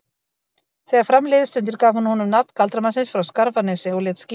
Þegar fram liðu stundir gaf hún honum nafn galdramannsins frá Skarfanesi og lét skíra hann